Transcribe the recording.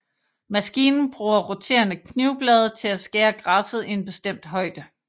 Maskinen bruger roterende knivblade til at skære græsset i en bestemt højde